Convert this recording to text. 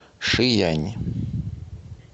шиянь